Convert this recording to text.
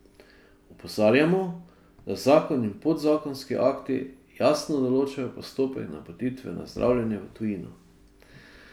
Opozarjamo, da zakon in podzakonski akti jasno določajo postopek napotitve na zdravljenje v tujino.